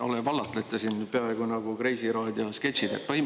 No te vallatlete siin peaaegu nagu Kreisiraadio sketšis.